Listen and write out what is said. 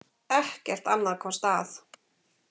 Ekkert annað komst að.